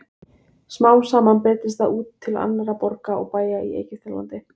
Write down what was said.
Smám saman breiddist það út til annarra borga og bæja í Egyptalandi.